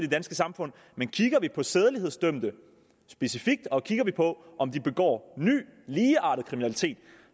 danske samfund men kigger vi på sædelighedsdømte specifikt og kigger vi på om de begår ny ligeartet kriminalitet